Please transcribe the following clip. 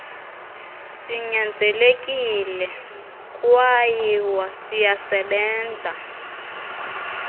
sinyanzelekile kwayw siyasebenza